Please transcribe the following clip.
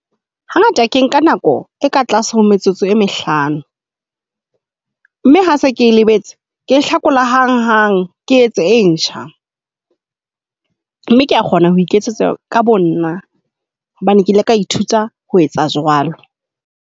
Hangata ke nka nako e ka tlase ho metsotso e mehlano mme ha se ke lebetse ke e hlakola hang hang ke etse e ntjha. Mme kea kgona ho iketsetsa ka bonna hobane ke ile ka ithuta ho etsa jwalo.